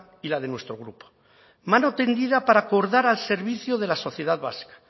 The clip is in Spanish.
y la de nuestro grupo mano tendida para acordar al servicio de la sociedad vasca